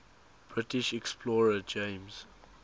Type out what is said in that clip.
british explorer james